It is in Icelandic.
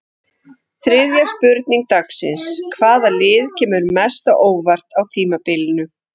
Þriðja spurning dagsins: Hvaða lið kemur mest á óvart á tímabilinu?